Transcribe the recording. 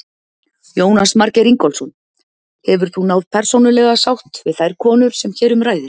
Jónas Margeir Ingólfsson: Hefur þú náð persónulega sátt við þær konur sem hér um ræðir?